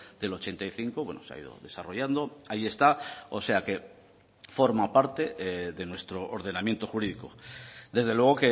del ochenta y cinco bueno se ha ido desarrollando ahí está o sea que forma parte de nuestro ordenamiento jurídico desde luego